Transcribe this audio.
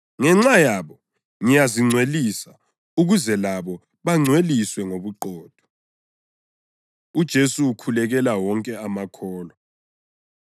Ngenxa yabo ngiyazingcwelisa ukuze labo bangcweliswe ngobuqotho.” UJesu Ukhulekela Wonke Amakholwa